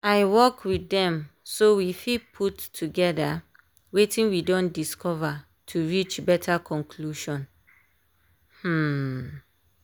i work with dem so we fit put togetherwetin we don dicover to reach better conclusion. um